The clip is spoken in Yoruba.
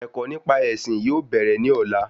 Ẹ̀kọ́ nípa ẹ̀sìn yóò bèrè ní ọ̀la